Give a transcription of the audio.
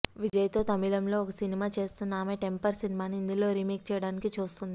విజయ్ తో తమిళం లో ఒక సినిమా చేస్తున్న ఆమె టెంపర్ సినిమాని హిందీ లో రీమేక్ చెయ్యడానికి చూస్తోంది